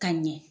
Ka ɲɛ